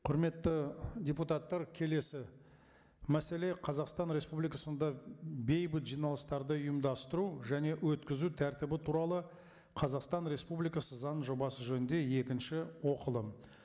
құрметті депутаттар келесі мәселе қазақстан республикасында бейбіт жиналыстарды ұйымдастыру және өткізу тәртібі туралы қазақстан республикасы заң жобасы жөнінде екінші оқылым